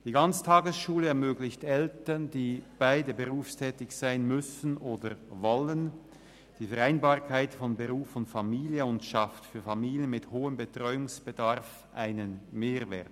Die Ganztagesschule ermöglicht Eltern, die beide berufstätig sein müssen oder wollen, die Vereinbarkeit von Beruf und Familie und schafft für Familien mit hohem Betreuungsbedarf einen Mehrwert.